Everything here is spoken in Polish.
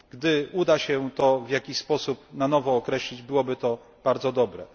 Gdy uda się to w jakiś sposób na nowo określić, byłoby to bardzo dobre.